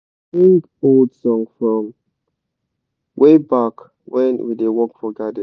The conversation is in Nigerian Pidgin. we da sing old song from wayback when we da work for garden